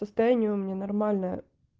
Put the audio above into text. состояние у меня нормальное